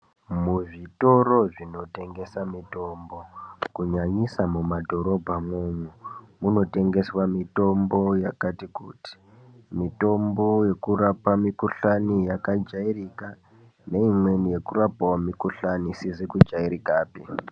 Muzvitoro zvinotengesa mutombo kunyanyisa mumadhorobha mwomwo munotengeswa mutombo yakati kuti mitombo yekurapa mikhuhlani Yakajairika neimweni yekurapa mikhuhlani isizi kujairika pe.